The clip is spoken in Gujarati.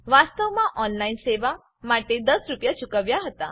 વાસ્તવમાં ઓનલાઈન સેવા માટે ૧૦ રૂપિયા ચૂકવ્યા હતા